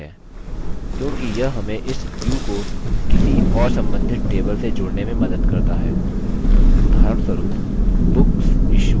क्योंकि यह हमें इस view को किसी और सम्बन्धित table से जोड़ने में मदद करता है उदाहरणस्वरुप booksissued table